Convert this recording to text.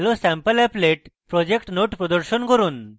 hellosampleapplet project node প্রদর্শন করুন